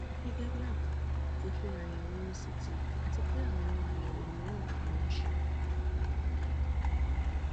gẹgẹ bí àbá mo ṣe àyẹwò ct àti pé àwọn àyẹwò mìíràn ni wọn ṣe